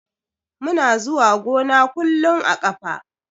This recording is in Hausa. Muna zuwa gona kullun a ƙafa.